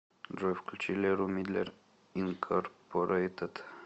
джой включи леру мидлер инкорпорейтед